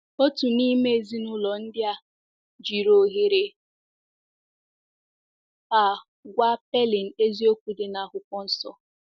Otu n’ime ezinụlọ ndị a jiri ohere a gwa Pailing eziokwu dị na Akwụkwọ Nsọ.